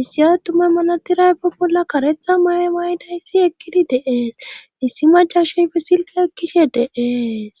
issi attumay malatiray be bolla karetha maye mayidayssi ekkidi deees issi macashey be silka ekkishe deees